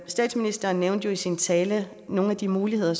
statsministeren nævnte jo i sin tale nogle af de muligheder